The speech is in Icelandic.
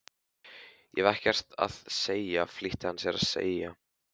Ég hef ekkert að segja flýtti hann sér að segja.